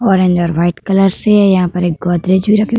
और अंदर white colour से यहाँ पर गोदरेज भी रखी हुई --